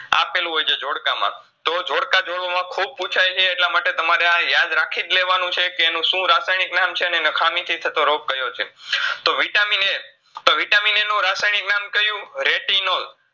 આપેલું હોયછે ઝોડકામાં તો ઝોડકાઝોડોમાં ખૂબ પૂછાયછે એટલામાટે તમારે અઅ યાદ રાખીજ લેવાનું છે કે એનું શું રાસાયનીક નામ છે ને એના ખામીથી થતો રોગ કયો છે. તો Vitamin A તો Vitamin A નું રાસાયનીક નામ કયું retinol